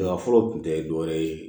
fɔlɔ tun tɛ dɔ wɛrɛ ye